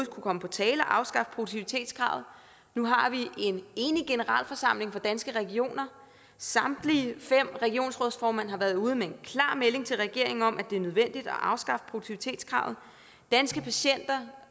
komme på tale at afskaffe produktivitetskravet nu har vi en enig generalforsamling for danske regioner og samtlige fem regionsrådsformand har været ude med en klar melding til regeringen om at det er nødvendigt at afskaffe produktivitetskravet danske patienter